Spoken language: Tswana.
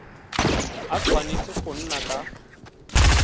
a tshwanetse go nna ka